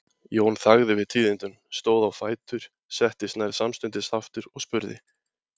Jón þagði við tíðindunum, stóð á fætur, settist nær samstundis aftur og spurði